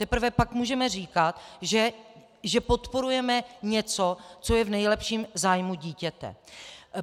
Teprve pak můžeme říkat, že podporujeme něco, co je v nejlepším zájmu dítěte.